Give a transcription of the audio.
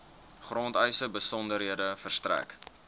grondeise besonderhede verstrek